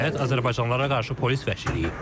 Və nəhayət, azərbaycanlılara qarşı polis vəhşiliyi.